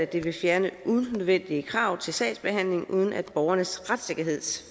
de vil fjerne unødvendige krav til sagsbehandlingen uden at borgernes retssikkerhed